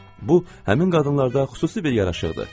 Bu həmin qadınlarda xüsusi bir yaraşıqdır.